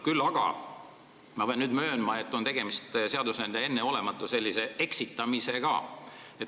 Küll pean ma möönma, et tegemist on seadusandja enneolematu eksitamisega.